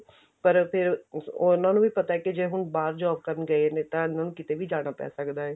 ਪਰ ਹੁਣ ਫਿਰ ਉਹਨਾ ਨੂੰ ਵੀ ਪਤਾ ਕੀ ਜੇ ਹੁਣ ਬਾਹਰ job ਕਰਨ ਗਏ ਨੇ ਤਾਂ ਉਹਨਾ ਨੂੰ ਕੀਤੇ ਵੀ ਜਾਣਾ ਪੈ ਸਕਦਾ